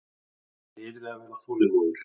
Hann yrði að vera þolinmóður.